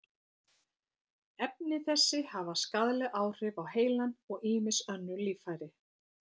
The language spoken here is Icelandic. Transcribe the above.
Efni þessi hafa skaðleg áhrif á heilann og ýmis önnur líffæri.